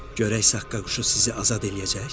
Görək saqqa quşu sizi azad eləyəcək?